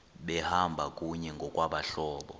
behamba kunye ngokwabahlobo